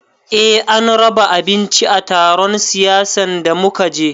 Eh an raba abinci a taron siyasan da muka je